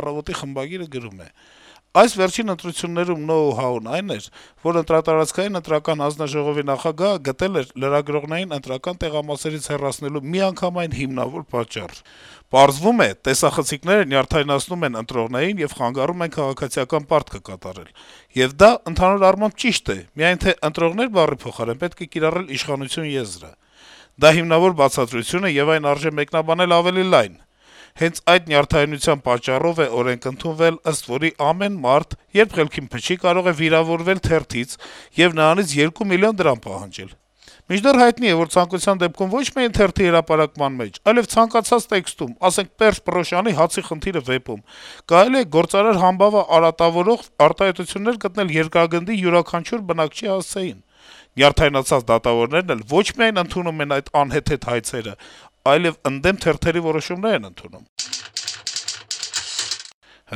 «Առավոտ»-ի խմբագիրը գրում է.- «Այս վերջին ընտրություններում know-how-ն այն էր, որ ընտրատարածքային ընտրական հանձնաժողովի նախագահը գտել է լրագրողներին ընտրական տեղամասերից հեռացնելու միանգամայն հիմնավոր պատճառ: Պարզվում է, տեսախցիկները նյարդայնացնում են ընտրողներին եւ խանգարում են քաղաքացիական պարտքը կատարել: Եվ դա, ընդհանուր առմամբ, ճիշտ է, միայն թե «ընտրողներ» բառի փոխարեն պետք է կիրառել «իշխանություն» եզրը: Դա հիմնավոր բացատրություն է, եւ այն արժե մեկնաբանել ավելի լայն: Հենց այդ նյարդայնության պատճառով է օրենք ընդունվել, ըստ որի` ամեն մարդ, երբ խելքին փչի, կարո է «վիրավորվել» թերթից եւ նրանից երկու միլիոն դրամ պահանջել: Մինչդեռ հայտնի է, որ ցանկության դեպքում ոչ միայն թերթի հրապարակման մեջ, այլեւ ցանկացած տեքստում (ասենք, Պերճ Պռոշյանի «Հացի խնդիրը» վեպում) կարելի է գործարար համբավը արատավորող արտահայտություններ գտնել` Երկրագնդի յուրաքանչյուր բնակչի հասցեին: «Նյարդայնացած» դատավորներն էլ ոչ միայն ընդունում են այդ անհեթեթ հայցերը, այլեւ ընդդեմ թերթերի որոշումներ են ընդունում: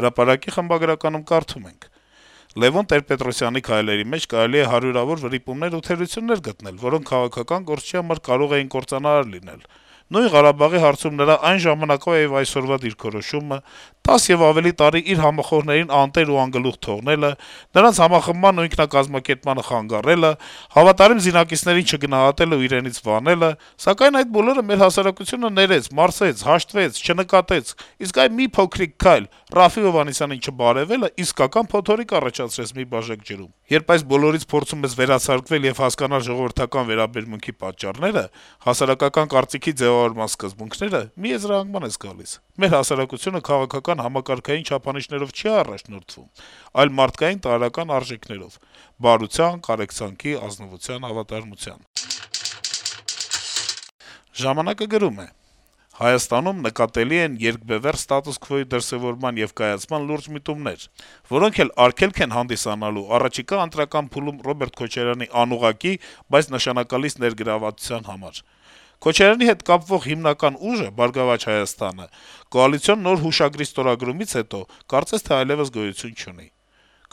«Հրապարակ»-ի խմբագիրը գրում է. - «Լեւոն Տեր-Պետրոսյանի քայլերի մեջ կարելի է հարյուրավոր վրիպումներ ու թերություններ գտնել, որոնք քաղաքական գործչի համար կարող էին կործանարար լինել: Նույն Ղարաբաղի հարցում նրա այն ժամանակվա եւ այսօրվա դիրքորոշումը: 10 եւ ավելի տարի իր համախոհներին անտեր ու անգլուխ թողնելը, նրանց համախմբմանն ու ինքնակազմակերպմանը խանգարելը: Հավատարիմ զինակիցներին չգնահատելն ու իրենից վանելը: Սակայն այդ բոլորը մեր հասարակությունը ներեց, մարսեց, հաշտվեց, չնկատեց: Իսկ այ մի փոքրիկ քայլ՝ Րաֆֆի Հովհաննիսյանին չբարեւելը, իսկական փոթորիկ առաջացրեց մի բաժակ ջրում: Երբ այս բոլորից փորձում ես վերացարկվել եւ հասկանալ ժողովրդական վերաբերմունքի պատճառները, հասարակական կարծիքի ձեւավորման սկզբունքները, մի եզրահանգման ես գալիս. մեր հասարակությունը քաղաքական համակարգային չափորոշիչներով չի առաջնորդվում, այլ մարդկային տարրական արժեքներով՝ բարության, կարեկցանքի, ազնվության, հավատարմության»: «Ժամանակ»-ը գրում է. - «Հայաստանում նկատելի են երկբեւեռ ստատուս քվոյի դրսեւորման եւ կայացման լուրջ միտումներ, որոնք էլ հենց արգելք են հանդիսանալու առաջիկա ընտրական փուլում Ռոբերտ Քոչարյանի անուղղակի, բայց նշանակալից ներգրավվածության համար: Քոչարյանի հետ կապվող հիմնական ուժը` «Բարգավաճ Հայաստանը», կոալիցիոն նոր հուշագրի ստորագրումից հետո կարծես թե այլեւս գոյություն չունի: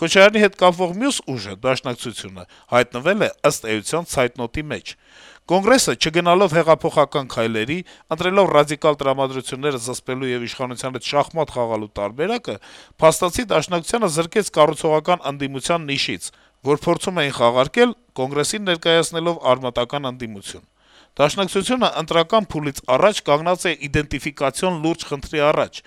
Քոչարյանի հետ կապվող մյուս ուժը` Դաշնակցությունը, հայտնվել է, ըստ էության, ցայտնոտի մեջ: Կոնգրեսը չգնալով հեղափոխական քայլերի, ընտրելով ռադիկալ տրամադրությունները զսպելու եւ իշխանության հետ շախմատ խաղալու տարբերակը` փաստացի Դաշնակցությանը զրկեց «կառուցողական ընդդիմության» նիշից, որ փորձում էին խաղարկել Կոնգրեսին ներկայացնելով արմատական ընդդիմություն: Դաշնակցությունն ընտրական առաջիկա փուլից առաջ կանգնած է իդենտիֆիկացիոն լուրջ խնդրի առաջ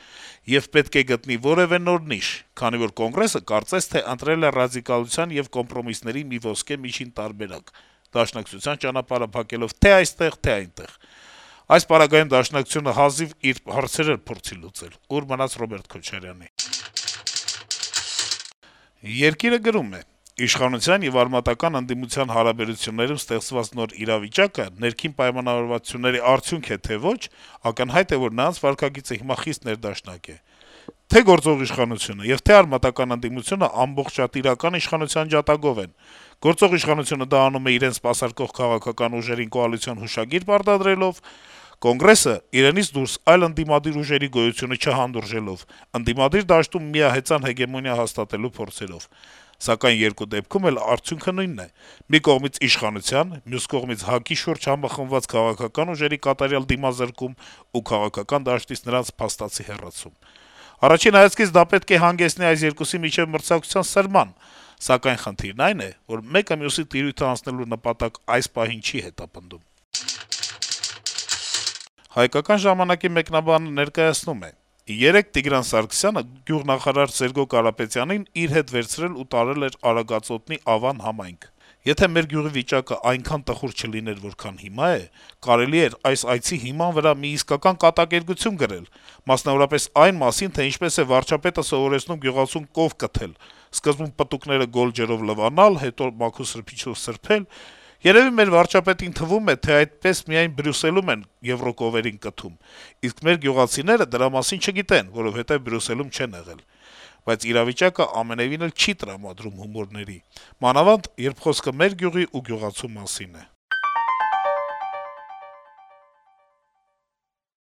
եւ պետք է գտնի որեւէ նոր նիշ, քանի որ Կոնգրեսը կարծես թե ընտրել է ռադիկալության եւ կոմպրոմիսների մի ոսկե միջին տարբերակ` Դաշնակցության ճանապարհը փակելով թե՛ այստեղ, թե՛ այնտեղ: Այդ պարագայում Դաշնակցությունը հազիվ իր հարցերը փորձի լուծել, ուր մնաց Ռոբերտ Քոչարյանի»: «Երկիր»-ը գրում է. - «Իշխանության եւ արմատական ընդդիմության հարաբերություններում ստեղծված նոր իրավիճակը ներքին պայմանավորվածությունների արդյունք է, թե ոչ, ակնհայտ է, որ նրանց վարքագիծը հիմա խիստ ներդաշնակ է: Դա պայմանավորված է ստերոոտիպային-հոգեբանական եւ պրագմատիկ-քաղաքական մի քանի գործոններով: Թե գործող իշխանությունը, թե արմատական ընդդիմությունը ամբողջատիրական իշխանության ջատագով են: Գործող իշխանությունը դա անում է իրեն սպասարկող քաղաքական ուժերին կոալիցիոն հուշագիր պարտադրելով, ՀԱԿ-ը`իրենից դուրս այլ ընդդիմադիր ուժերի գոյությունը չհանդուրժելով, ընդդիմադիր դաշտում միահեծան հեգեմոնիա հաստատելու փորձերով: Սակայն երկու դեպքում էլ արդյունքը նույնն է`մի կողմից իշխանության, մյուս կողմից` ՀԱԿ-ի շուրջ համախմբած քաղաքական ուժերի կատարյալ դիմազրկում ու քաղաքական դաշտից նրանց փաստացի հեռացում: Առաջին հայացքից դա պետք է հանգեցնի այս երկուսի միջեւ մրցակցության սրման: Սակայն խնդիրն այն է, որ մեկը մյուսի տիրույթն անցնելու նպատակ այս պահին չի հետապնդում»: «Հայկական ժամանակ»-ը մեկնաբանը գրում է. - «Երեկ Տիգրան Սարգսյանը գյուղնախարար Սերգո Կարապետյանին իր հետ վերցրել ու տարել էր Արագածոտնի Ավան համայնք: Եթե մեր գյուղի վիճակը այնքան տխուր չլիներ, որքան հիմա է, կարելի էր այս այցի հիման վրա մի իսկական կատակերգություն գրել, մասնավորապես այն մասին, թե ինչպես է վարչապետը գյուղացուն սովորեցնում կով կթել` սկզբում պտուկները գոլ ջրով լվանալ, հետո մաքուր սրբիչով սրբել…: Երեւի մեր վարչապետին թվում է, թե այդպես միայն Բրյուսելում են եվրոկովերին կթում, իսկ մեր գյուղացիները դրա մասին չգիտեն, որովհետեւ Բրյուսելում չեն եղել: Բայց իրավիճակը ամենեւին էլ չի տրամադրում հումորների, մանավանդ, երբ խոսքը մեր գյուղի ու գյուղացու մասին է»: